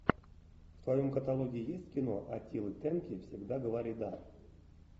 в твоем каталоге есть кино аттила тенки всегда говори да